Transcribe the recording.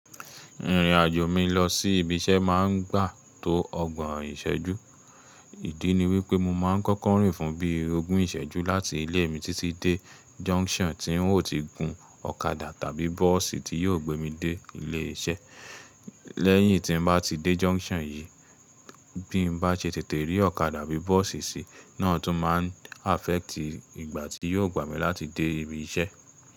Ìrìn-àjò mi lọ sí ibi iṣẹ́ máa ń gbà tó ọgbọ̀n ìṣẹ́jú. Ìdí ni wípé mo máa ń kọ́kọ́ rìn fún bí i ogún ìṣẹ́jú láti ilé mi títí dé junction tí ń ó ti gun ọ̀kadà tàbí bọ́ọ̀sì tí yóò gbé mi dé ilé iṣẹ́. Lẹ́yìn tí n bá ti dé junction yìí, bí mo bá ṣe tètè rí ọ̀kadà bí bọ́ọ̀sì sì, náà tún máa ń affect ìgbà tí yóò gbà mí láti dé ibi iṣẹ́.